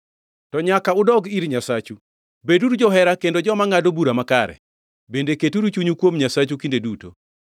To nyaka uduog ir Nyasachu; beduru johera kendo joma ngʼado bura makare, bende keturu chunyu kuom Nyasachu kinde duto.